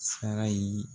Sara ye